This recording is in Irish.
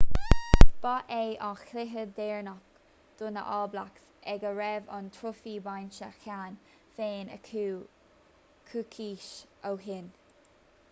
ba é an cluiche deireanach do na all blacks ag a raibh an trófaí bainte cheana féin acu coicís ó shin